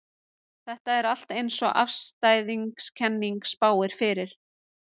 Ástæðan fyrir því er að á Íslandi er umhleypingasamt.